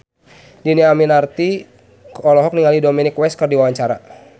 Dhini Aminarti olohok ningali Dominic West keur diwawancara